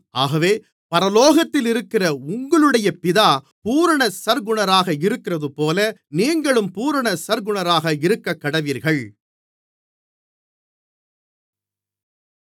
ஆகவே பரலோகத்திலிருக்கிற உங்களுடைய பிதா பூரண சற்குணராக இருக்கிறதுபோல நீங்களும் பூரண சற்குணராக இருக்கக்கடவீர்கள்